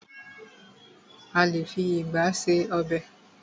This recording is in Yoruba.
A lé fi ìgba ṣe ọb|.